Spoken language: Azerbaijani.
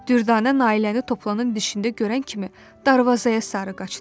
Düvdanə Nailəni Toplanın dişində görən kimi darvazaya sarı qaçdı.